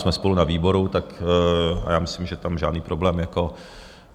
Jsme spolu na výboru a já myslím, že tam žádný problém jako...